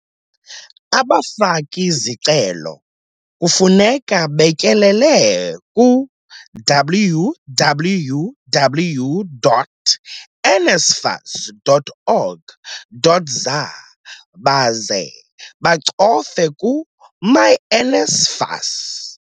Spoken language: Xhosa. Abafaki-zicelo kufuneka betyelele ku-www.nsfas.org.za baze bacofe ku-myNSFAS.